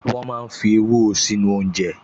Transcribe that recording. Wọ́n máa ń fi ewúro sínú oúnjẹ